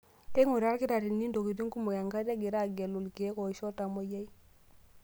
Keinguraa ilkitarrini ntokitin kumok enkata egira aagelu ilkeek oisho iltamoyia.